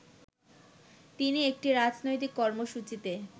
তিনি একটি রাজনৈতিক কর্মসূচিতে